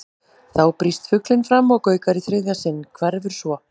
Þá brýst fuglinn fram og gaukar í þriðja sinn, hverfur svo.